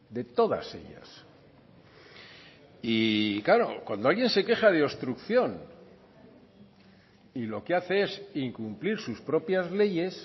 de todas ellas y claro cuando alguien se queja de obstrucción y lo que hace es incumplir sus propias leyes